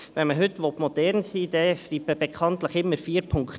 Wenn man heute modern sein will, schreibt man bekanntlich immer «4.0» dazu.